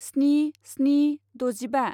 स्नि स्नि द'जिबा